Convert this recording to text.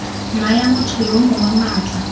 naya motho yo mongwe maatla